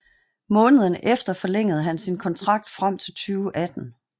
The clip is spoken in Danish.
Måneden efter forlængede han sin kontrakt frem til 2018